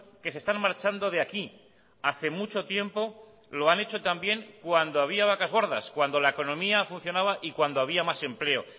que se están marchando de aquí hace mucho tiempo lo han hecho también cuando había vacas gordas cuando la economía funcionaba y cuando había más empleo